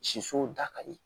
Sisow da ka di